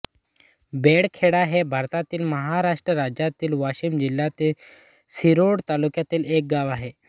बेळखेडा हे भारतातील महाराष्ट्र राज्यातील वाशिम जिल्ह्यातील रिसोड तालुक्यातील एक गाव आहे